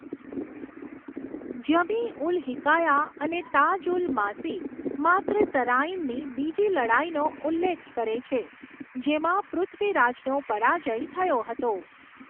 જમી ઉલ હિકાયા અને તાજ ઉલ માસીર માત્ર તરાઇનની બીજી લડાઇનો ઉલ્લેખ કરે છે, જેમાં પૃથ્વીરાજનો પરાજય થયો હતો.